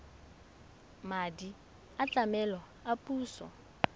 madi a tlamelo a puso